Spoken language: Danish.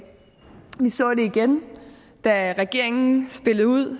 vi så det igen da regeringen spillede ud